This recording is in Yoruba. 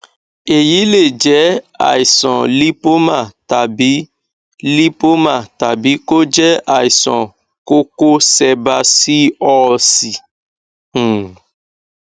èyí lè jẹ àìsàn lípómà tàbí lípómà tàbí kó jẹ àìsàn kókó sẹbásíọọsì um